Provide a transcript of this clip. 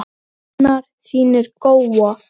Þar svitnar hann.